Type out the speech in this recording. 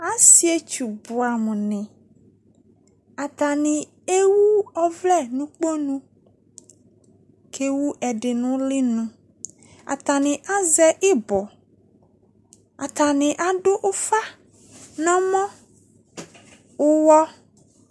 Asietsu buamu ne Atane ewu ɔvlɛ no kponu, ko ewu ɛde no ulenu Atane azɛ ibɔ Atane ado ufa no ɔmɔ, uwɔ